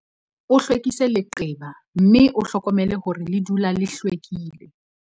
O hlwekise leqeba mme o hlokomele hore le dula le hlwekile.